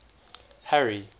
harry